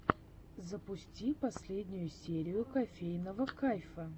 запусти последнюю серию кофейного кайфа